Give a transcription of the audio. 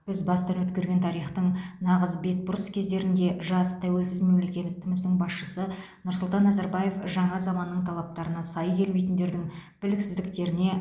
біз бастан өткерген тарихтың нағыз бетбұрыс кездерінде жас тәуелсіз мемлекетіміздің басшысы нұрсұлтан назарбаев жаңа заманның талаптарына сай келмейтіндердің біліксіздіктеріне